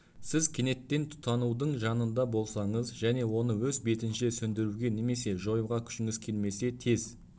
сіз кенеттен тұтанудың жанында болсаңыз және оны өз бетінше сөндіруге немесе жоюға күшіңіз келмесе тез